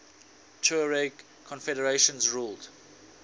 tuareg confederations ruled